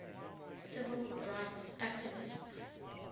civil rights activists